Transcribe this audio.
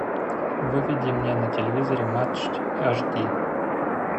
выведи мне на телевизоре матч аш ди